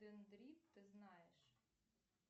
дендрит ты знаешь